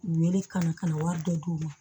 U ye ne kalan ka na wari dɔ d'u ma